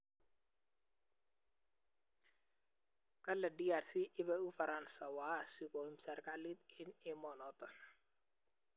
Kale DRC ibei ufaransa waasi koim serkalit eng emenoto